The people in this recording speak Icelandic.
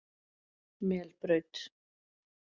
Melbraut